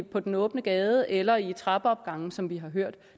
på den åbne gade eller i trappeopgange som vi har hørt